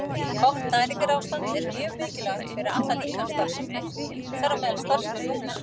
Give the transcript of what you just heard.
Gott næringarástand er mjög mikilvægt fyrir alla líkamsstarfsemi, þar á meðal starfsemi lungnanna.